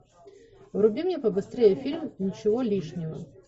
вруби мне побыстрее фильм ничего лишнего